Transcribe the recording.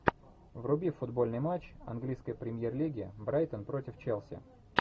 вруби футбольный матч английской премьер лиги брайтон против челси